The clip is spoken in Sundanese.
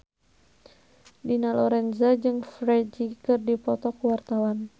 Dina Lorenza jeung Ferdge keur dipoto ku wartawan